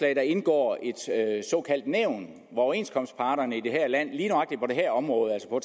indgår et såkaldt nævn hvor overenskomstparterne i det her land lige nøjagtig på det her område altså